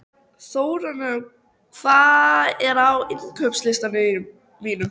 Þórarinn, hvað er á innkaupalistanum mínum?